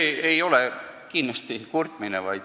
See ei ole kindlasti kurtmine.